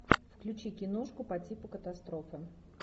включи киношку по типу катастрофы